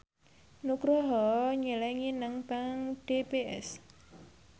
Nugroho nyelengi nang bank DBS